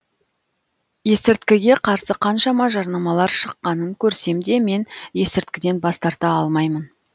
есірткіге қарсы қаншама жарнамалар шыққанын көрсем де мен есірткіден бас тарта алмаймын